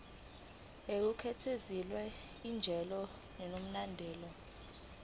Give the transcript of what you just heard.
ngokukhethekile njengendawo enomlando